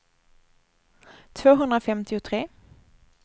tvåhundrafemtiotre